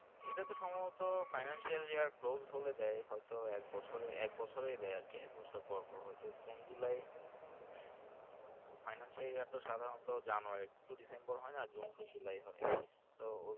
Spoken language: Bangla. এটা তে সম্ভবত Financial যে Close হলেই দেয় দেয় হয়তো একবছরে একবছরে দেয় আর কি এক বছর পর পর হয় তো June July ওখানে সেই সাধারণত January tow December হয় না June tow July হয় তো।